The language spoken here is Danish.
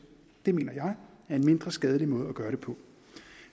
det mener jeg er en mindre skadelig måde at gøre det på